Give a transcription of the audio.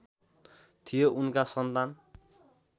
थियो उनका सन्तान